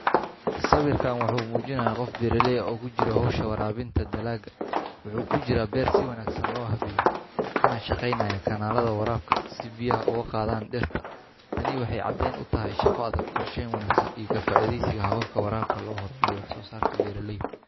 Sawirkan waxa uu muujinayaa qof beeraley ah oo ku jira hawsha waraabinta dalagga. Waxa uu ku jiraa beer si wanaagsan loo habeeyay, kana shaqaynaya kanaallada waraabka si biyaha ugu gaadhaan dhirta. Tani waxay caddeyn u tahay shaqo adag, qorsheyn wanaagsan iyo ka faa’iidaysiga hababka waraabka si loo horumariyo wax soosaarka beeraleyda.